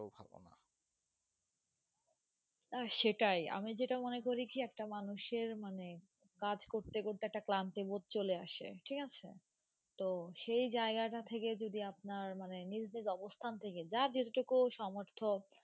সেটাই আমি যেটা মনে করি কি একটা মানুষের মানে কাজ করতে করতে একটা ক্লান্তি বোধ চলে আসে, ঠিক আছে। তো সেই জায়গাটা থেকে যদি আপনার মানে অবস্থান থেকে যার যে টুকু সমর্থ